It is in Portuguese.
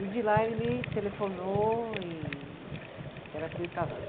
E de lá ele me telefonou e, que era para eu ir casar.